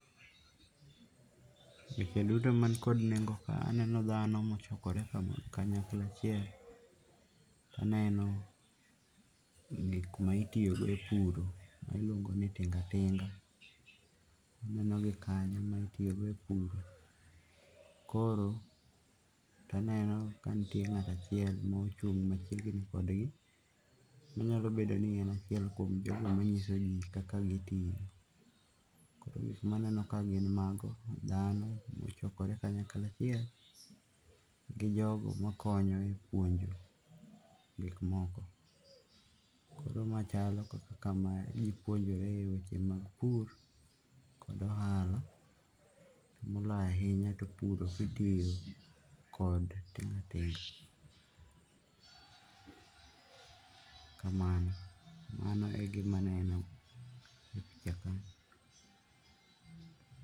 Weche duto man kod nengo kae, aneno ndano ma ochokore kanyakla achiel, aneno gik mitiyo go e pur miluongo' ni tinga tinga, anenogi kanyo mitiyo go e pur, koro to anenogi kanyo ka nitie ngato achiel mochung' machiegni kodgi minyalo bedo ni en achiel kuom jogo manyisogi kaka gitiyo. Maneno kae gin mago, dhano mochokore kanyakla achiel, gi jogo makonyo e puonjo gikmoko. Koro ma chalo kama ji puonjore e weche mag pur kod ohala moloyo ahinya to pur kitiyo kod tinga tinga, kamano mano e gima aneno e ka